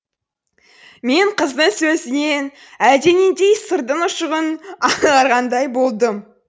мен қыздың сөзінен әлденендей сырдың ұшығын аңғарғандай болдым